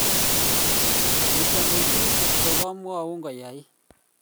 Mutyo mising' kotko kamuaun koyait